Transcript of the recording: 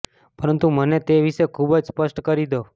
પરંતુ મને તે વિશે ખૂબ જ સ્પષ્ટ કરી દો